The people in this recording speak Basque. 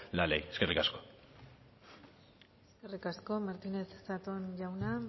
la ley eskerrik asko eskerrik asko martínez zatón jauna